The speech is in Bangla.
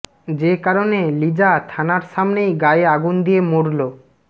যে কারণে লিজা থানার সামনেই গায়ে আগুন দিয়ে মরল